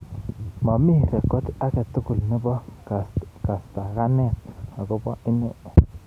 Mami rekod age tugul nebo kastakanet akobo ine.